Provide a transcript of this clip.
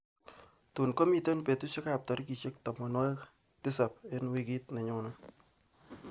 tuun komiten betushekab tigriishej tamanwogik tisap eng wiikit nenyone